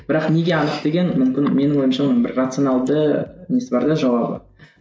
бірақ неге анық деген мүмкін менің ойымша оның бір рационалды несі бар да жауабы